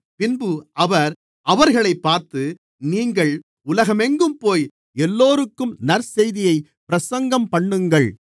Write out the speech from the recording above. பின்பு அவர் அவர்களைப் பார்த்து நீங்கள் உலகமெங்கும்போய் எல்லோருக்கும் நற்செய்தியைப் பிரசங்கம்பண்ணுங்கள்